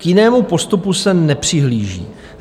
K jinému postupu se nepřihlíží.